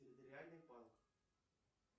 территориальный банк